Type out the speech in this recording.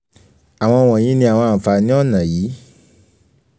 awọn wọnyi ni awọn anfani ọna yii: